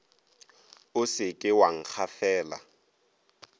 o se ke wa nkgafela